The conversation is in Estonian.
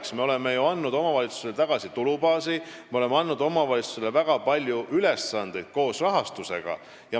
Aga me oleme ju andnud omavalitsustele tagasi tulubaasi ja me oleme andnud omavalitsustele väga palju ülesandeid koos rahastusega.